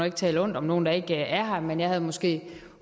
ikke tale ondt om nogen der ikke er her men jeg havde måske